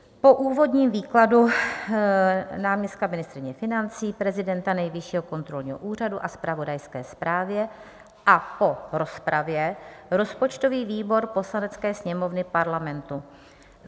"Po úvodním výkladu náměstka ministryně financí, prezidenta Nejvyššího kontrolního úřadu a zpravodajské zprávě a po rozpravě rozpočtový výbor Poslanecké sněmovny Parlamentu: